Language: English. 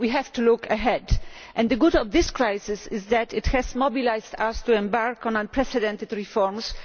We have to look ahead, and the good thing about this crisis is that it has mobilised us to embark on unprecedented reforms.